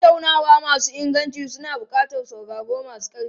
Tattaunawa masu inganci suna buƙatar sauraro mai ƙarfi.